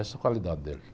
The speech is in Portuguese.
Essa é a qualidade dele